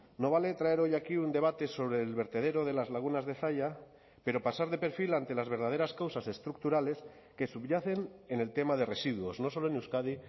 no vale traer hoy aquí un debate sobre el vertedero de las lagunas de zalla pero pasar de perfil ante las verdaderas causas estructurales que subyacen en el tema de residuos no solo en euskadi